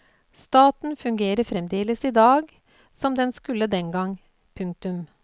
Staten fungerer fremdeles i dag som den skulle den gang. punktum